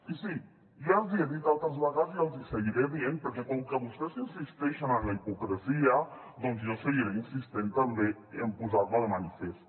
i sí ja els hi he dit altres vegades i els hi seguiré dient perquè com que vostès insisteixen en la hipocresia doncs jo seguiré insistint també en posar la de manifest